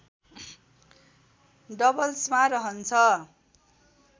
डबल्समा रहन्छ